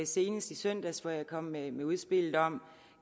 senest i søndags hvor jeg kom med med udspillet om